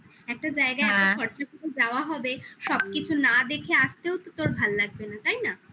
একটা জায়গায় খরচা করে দেওয়া হবে সবকিছু না দেখে আসতেও তো তোর ভালো লাগবে না তাই না